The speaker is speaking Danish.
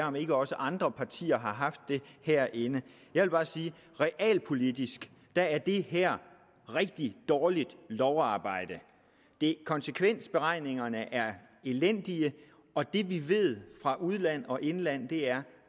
om ikke også andre partier har haft det herinde jeg vil bare sige at realpolitisk er er det her rigtig dårligt lovarbejde konsekvensberegningerne er elendige og det vi ved fra udland og indland er